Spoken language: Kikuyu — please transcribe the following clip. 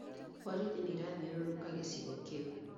Borithi nĩirathiũrũrũka gĩcigo kĩu